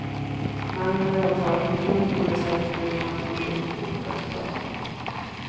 Mannen är åtalad för grov trolöshet mot huvudman och grovt bokföringsbrott.